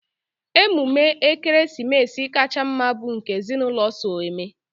emume ekeresimesi kacha mma bụ nke ezinụlọ so eme